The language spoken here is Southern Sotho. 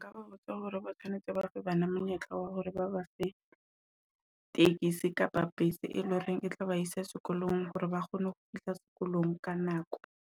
Nka ba botsa hore ba tshwanetse ba fe bana monyetla wa hore ba ba fe ye taxi kapa e leng hore e tla ba isa sekolong hore ba kgone ho fihla sekolong ka nako.